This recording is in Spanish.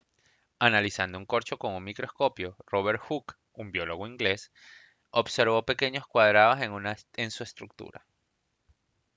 analizando un corcho con un microscopio robert hooke un biólogo inglés observó pequeños cuadrados en su estructura